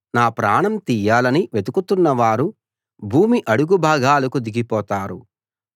నా ప్రాణం తీయాలని వెతుకుతున్నవారు భూమి అడుగు భాగాలకు దిగిపోతారు